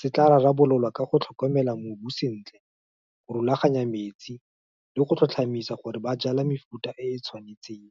se tla rarabololwa ka go tlhokomela mobu sentle, go rulaganya metsi, le go tlhotlhomisa gore ba jala mefuta e e tshwanetseng.